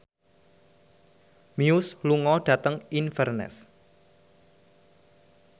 Muse lunga dhateng Inverness